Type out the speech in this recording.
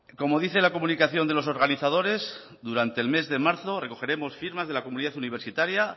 como dice la comunicación de los organizadores durante el mes de marzo recogeremos firmas de la comunidad universitaria